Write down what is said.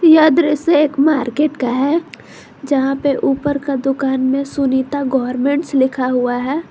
यह दृश्य एक मार्केट का है जहां पे ऊपर का दुकान में सुनीता गवर्नमेंटस लिखा हुआ है।